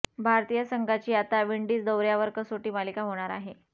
भारतीय संघाची आता विंडीज दौर्यावर कसोटी मालिका होणार आहे